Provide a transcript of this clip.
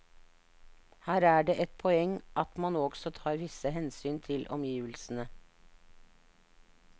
Her er det et poeng at man også tar visse hensyn til omgivelsene.